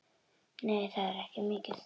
Nei, það er ekki mikið.